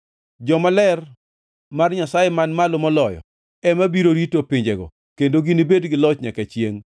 To jomaler mar Nyasaye Man Malo Moloyo ema biro rito pinjego kendo ginibed gi loch nyaka chiengʼ.’